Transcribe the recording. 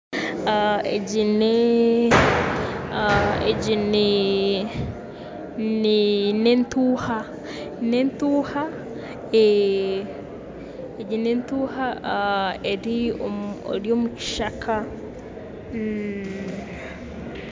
Egi ni egi ni ni n'entuuha n'entuuha egi n'entuuha eri omu kishaka.